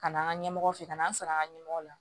Ka na an ka ɲɛmɔgɔ fɛ ka na an sɔrɔ an ka ɲɛmɔgɔ la